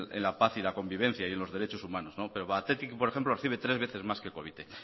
en la paz y en la convivencia y en los derechos humanos pero batetik por ejemplo recibe tres veces más que covite